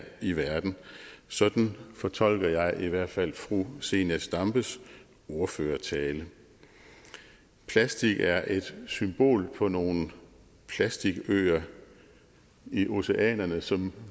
i verden sådan fortolker jeg i hvert fald fru zenia stampes ordførertale plastik er et symbol på nogle plastikøer i oceanerne som